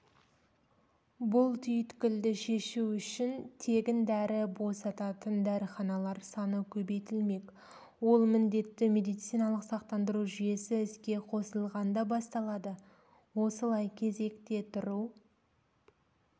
бұл түйткілді шешу үшін тегін дәрі босататын дәріханалар саны көбейтілмек ол міндетті медициналық сақтандыру жүйесі іске қосылғанда басталады осылай кезекте тұру